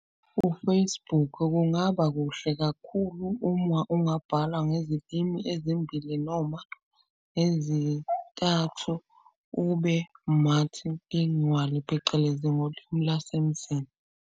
U-Facebook kungaba kuhle kakhulu ungabhala ngezilimi ezimbili noma ezintathu. Ube-multilingual phecelezi ngolimu lwasemzini.